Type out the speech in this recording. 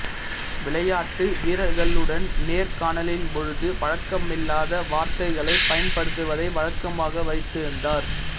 விளையாட்டு வீரர்களுடன் நேர்காணலின்பொழுது பழக்கமில்லாத வார்த்தைகளை பயன்படுத்துவதை வழக்கமாக வைத்திருந்தார்